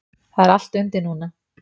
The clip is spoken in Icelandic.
Það er allt undir núna.